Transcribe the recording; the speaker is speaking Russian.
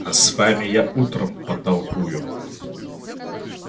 а с вами я утром потолкую